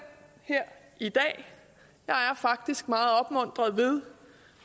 er faktisk meget opmuntret ved